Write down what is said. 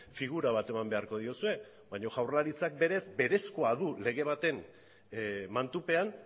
figura bat eman beharko diozue baina jaurlaritzak berez berezkoa du lege baten mantupean